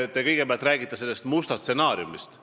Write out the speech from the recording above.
Te kõigepealt rääkisite sellest mustast stsenaariumist.